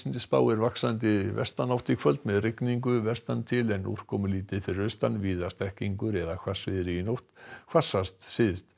spáir vaxandi vestanátt í kvöld með rigningu vestan til en úrkomulítið fyrir austan víða strekkingur eða hvassviðri í nótt hvassast syðst